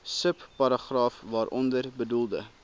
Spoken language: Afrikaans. subparagraaf waaronder bedoelde